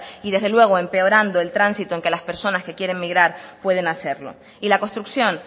y desde luego empeorando el tránsito en que las personas que quieren migrar pueden hacerlo y la construcción